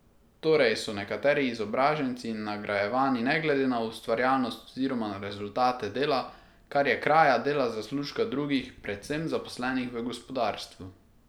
Torej so nekateri izobraženci nagrajevani ne glede na ustvarjalnost oziroma na rezultate dela, kar je kraja dela zaslužka drugih, predvsem zaposlenih v gospodarstvu.